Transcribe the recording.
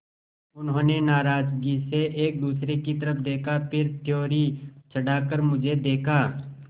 उन्होंने नाराज़गी से एक दूसरे की तरफ़ देखा फिर त्योरी चढ़ाकर मुझे देखा